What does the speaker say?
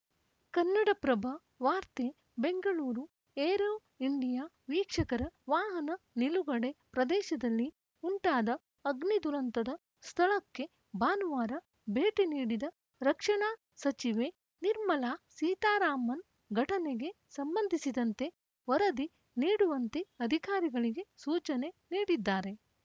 ಕನ್ನಡಪ್ರಭ ವಾರ್ತೆ Bengaluru aero India ವೀಕ್ಷಕರ ವಾಹನ ನಿಲುಗಡೆ ಪ್ರದೇಶದಲ್ಲಿ ಉಂಟಾದ ಅಗ್ನಿ ದುರಂತದ ಸ್ಥಳಕ್ಕೆ ಭಾನುವಾರ ಭೇಟಿ ನೀಡಿದ ರಕ್ಷಣಾ ಸಚಿವೆ ನಿರ್ಮಲಾ ಸೀತಾರಾಮನ್‌ ಘಟನೆಗೆ ಸಂಬಂಧಿಸಿದಂತೆ ವರದಿ ನೀಡುವಂತೆ ಅಧಿಕಾರಿಗಳಿಗೆ ಸೂಚನೆ ನೀಡಿದ್ದಾರೆ